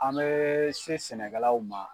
An bɛɛ se sɛnɛkɛlaw ma